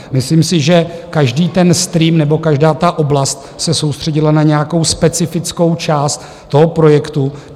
Myslím si, že každý ten stream nebo každá ta oblast se soustředila na nějakou specifickou část toho projektu.